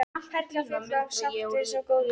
Perla full af sáttfýsi og góðvild.